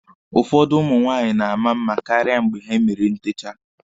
Ụfọdụ ụmụ nwaanyị na-ama mma karịa mgbe ha mere ntecha.